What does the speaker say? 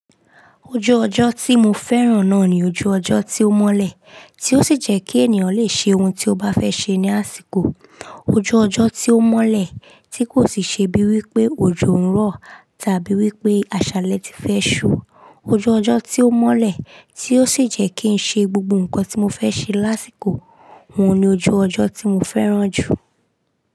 Ojú ọjọ́ tí mo fẹ́ràn náà ni ojú ọjọ́ tí ó mọ́lẹ̀, tí ó sì jẹ́ kí ènìyàn lè ṣe ohun tí ó bá fẹ́ ṣe ní àsìkò. Ojú ọjọ́ tí ó mọ́lẹ̀, tí kò sì ṣe bí wí pé ojú ń rọ̀ tàbí wí pé àṣálẹ́ ti fẹ́ ṣú. Ojú ọjọ́ tí ó mọ́lẹ̀, tí ó sì jẹ́ kí n ṣe gbogbo ǹkan tí mo fẹ́ ṣe lásìkò. Ohun ni ojú ọjọ́ tí mo fẹ́ràn jù.